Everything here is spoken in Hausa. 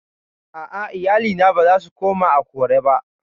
A'a, iyalina ba za su koma Akure ba